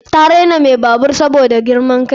Ta raina mai babur saboda girman kai.